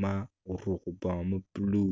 man bene tye ka neno.